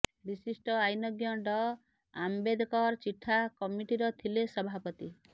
ବିଶିଷ୍ଟ ଆଇନଜ୍ଞ ଡଃ ଆମ୍ବେଦକର ଚିଠା କମିଟିର ଥିଲେ ସଭାପତି